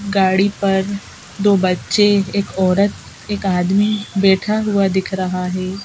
गाड़ी पर दो बच्चे एक औरत एक आदमी बैठा हुआ दिख रहा है।